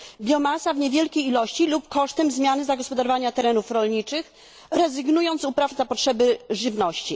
biomasa w niewielkiej ilości lub kosztem zmiany zagospodarowania terenów rolniczych, rezygnując z upraw na potrzeby żywności